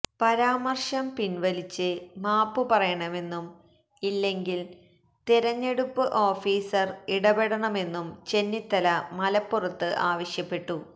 പരാമര്ശം പിന്വലിച്ച് മാപ്പ് പറയണമെന്നും ഇല്ലെങ്കില് തെരഞ്ഞെടുപ്പ് ഓഫീസര് ഇടപെടണമെന്നും ചെന്നിത്തല മലപ്പുറത്ത് ആവശ്യപ്പെട്ടു